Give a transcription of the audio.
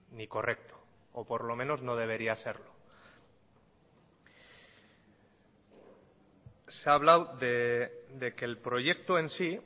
ni correcto o por lo menos no debería serlo se ha hablado de que el proyecto en sí